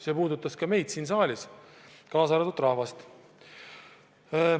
See puudutas ka meid siin saalis ja rahvast.